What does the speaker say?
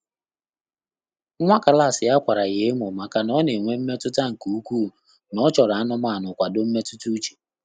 Nwá klásị̀ yá kwàrà yá èmó màkà nà ọ́ nà-ènwé mmétụ́tà nké úkwúù nà ọ́ chọ́rọ̀ ánụ́mánụ́ nkwàdò mmétụ́tà úchè.